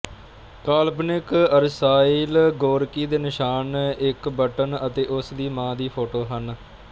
ਕਾਲਪਨਿਕ Arshile Gorky ਦੇ ਨਿਸ਼ਾਨ ਇੱਕ ਬਟਨ ਅਤੇ ਉਸਦੀ ਮਾਂ ਦੀ ਫੋਟੋ ਹਨ